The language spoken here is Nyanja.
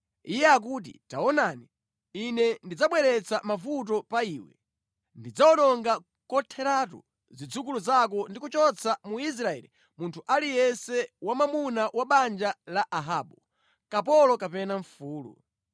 Iye akuti ‘Taonani, ine ndidzabweretsa mavuto pa iwe. Ndidzawononga kotheratu zidzukulu zako ndi kuchotsa mu Israeli munthu aliyense wamwamuna wa banja la Ahabu, kapolo kapena mfulu.